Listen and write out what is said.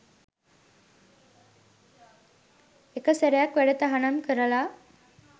එක සැරයක් වැඩ තහනම් කරල